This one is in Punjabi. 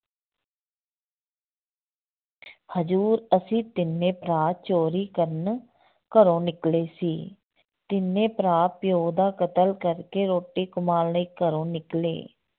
ਹਜ਼ੂਰ ਅਸੀਂ ਤਿੰਨੇ ਭਰਾ ਚੋਰੀ ਕਰਨ ਘਰੋਂ ਨਿਕਲੇ ਸੀ, ਤਿੰਨੇ ਭਰਾ ਪਿਓ ਦਾ ਕਤਲ ਕਰਕੇ ਰੋਟੀ ਕਮਾਉਣ ਲਈ ਘਰੋਂ ਨਿਕਲੇ।